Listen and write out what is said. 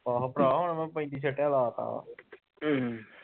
ਏਹੋ ਭਰਾ ਹੁਣ ਮੈ ਪੈਂਦੀ ਸਟਿਆ ਲਾਤਾ ਵਾ